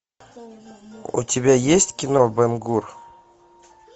у тебя есть кино бен гур